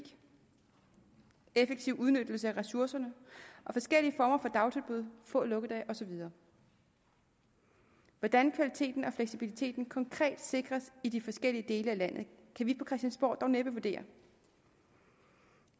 effektiv udnyttelse af ressourcerne forskellige former for dagtilbud få lukkedage og så videre hvordan kvaliteten og fleksibiliteten konkret sikres i de forskellige dele af landet kan vi på christiansborg dog næppe vurdere